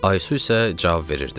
Aysu isə cavab verirdi: